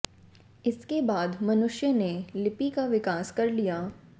इसके बाद मनुष्य ने लिपि का विकास कर लिया